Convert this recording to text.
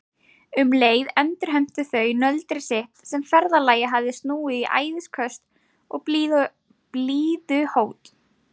Um leið endurheimtu þau nöldrið sitt sem ferðalagið hafði snúið í æðisköst og blíðuhót.